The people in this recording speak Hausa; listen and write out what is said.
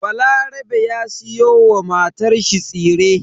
Balarabe ya siyo wa matanshi tsire.